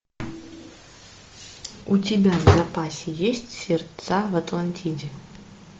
у тебя в запасе есть сердца в атлантиде